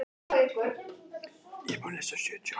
Ætti hann kannski að láta lögregluna vita af sér?